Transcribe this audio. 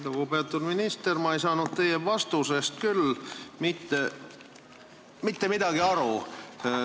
Lugupeetud minister, ma ei saanud teie vastusest küll mitte midagi aru.